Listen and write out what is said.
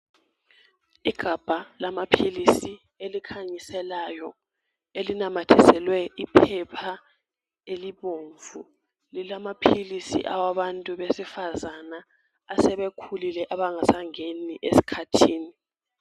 Igabha lamaphilisi elikhanyiselayo elinamathiselwe iphepha elibomvu lilamaphilisi awabantu besifazana asebekhulile abangasangeni esikhathini.